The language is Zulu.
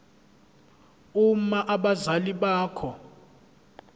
uma abazali bakho